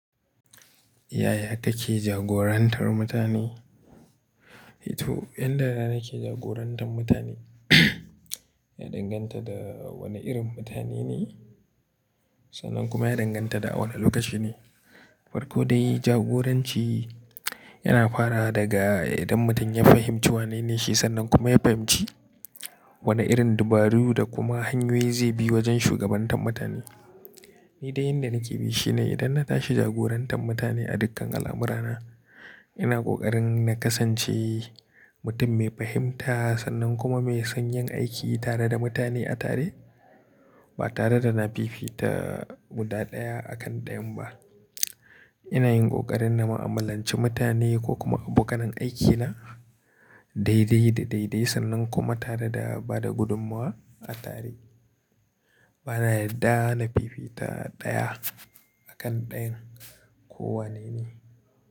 Yaya take jagorantar mutane? Eh to, yan da nake jagorantar mutane ya danganta da wane irin mutane ne, sannan kuma ya danganta da a wani lokaci ne. Farko dai jagoranci, yana farawa daga idan mutum ya fahimci wanene shi, sannan kuma ya fahimci wane irin dabaru da kuma hanyoyi zai bi wajen shugabantar mutane. Ni dai yanda nake bi shine, idan na tashi jagorantar mutane a dukkan al'amurana, ina ƙoƙarin na kasance mutum mai fahimta, sannan kuma mai son yin aiki tare da mutane a tare ba tare da na fifita guda ɗaya a kan ɗayan ba. Ina yin ƙoƙarin na mu'amalanci mutane ko kuma abokanin aikina daidai da daidai sannan kuma tare da bada gudummuwa a tare. Bana yarda na fifita ɗaya a kan ɗayan ko wanene.